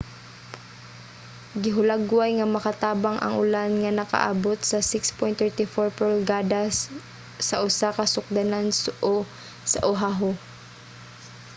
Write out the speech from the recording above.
gihulagway nga makatabang ang ulan nga nakaabot sa 6.34 pulgada sa usa ka sukdanan sa oahu